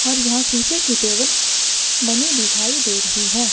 और यहां शीशे के टेबल बने दिखाई दे रहे है।